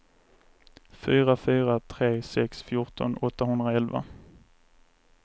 fyra fyra tre sex fjorton åttahundraelva